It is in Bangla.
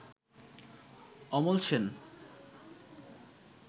অমল সেন